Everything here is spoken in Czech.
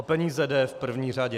O peníze jde v první řadě.